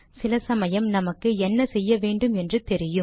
சில சமயம் நமக்கு என்ன செய்ய வேண்டும் என்று தெரியும்